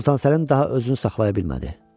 Sultan Səlim daha özünü saxlaya bilmədi.